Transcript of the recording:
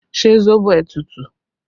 Ṣé sóbò ẹ tútù?